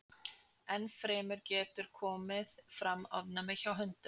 Enn fremur getur komið fram ofnæmi hjá hundum.